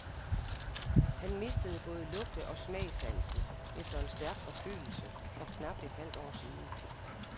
Han mistede både lugte- og smagssansen efter en stærk forkølelse for knap et halvt år siden.